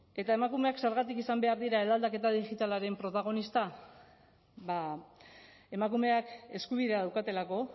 eta emakumeak zergatik izan behar dira eraldaketa digitalaren protagonista ba emakumeak eskubidea daukatelako